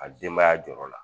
A denbaya jɔrɔ la